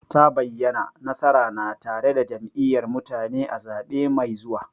Ta bayyana, nasara na tare da Jam'iyyar mutane a zaɓe mai zuwa.